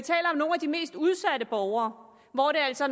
mest udsatte borgere hvor det altså